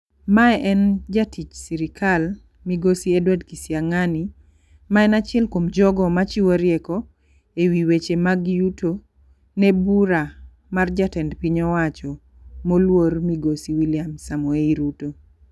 Mae en jatich sirikal migosi Edward kisiang'ani ma en achiel kuom jogo machiwo rieko ewi weche mg yuto ne bura mar jatend piny owacho moluor Migosi Wiliam Samoei Ruto.